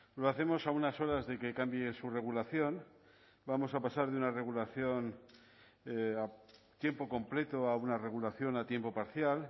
lo hacemos a unas horas de que cambie su regulación vamos a pasar de una regulación a tiempo completo a una regulación a tiempo parcial